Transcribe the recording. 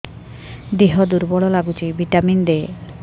ଦିହ ଦୁର୍ବଳ ଲାଗୁଛି ଭିଟାମିନ ଦେ